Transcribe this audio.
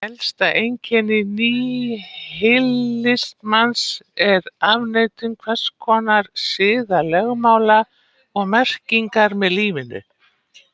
Helsta einkenni níhilismans er afneitun hvers konar siðalögmála og merkingar með lífinu.